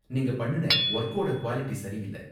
நீங்க பண்ணுன வொர்க்கோட குவாலிடி சரி இல்ல.